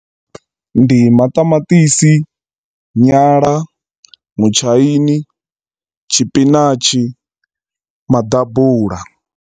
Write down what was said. Ndi maṱamaṱisi, nyala, mutshaini, tshipinatshi, maḓabula.